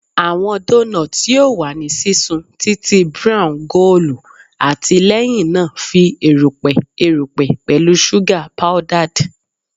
Awọn donuts yoo wa ni sisun titi brown goolu ati lẹhinna fi erupẹ erupẹ pẹlu suga powdered